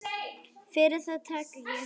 Fyrir það þakka ég henni.